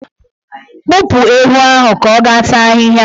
Kpụpụ ewu ahụ ka ọ ga taa ahịhịa!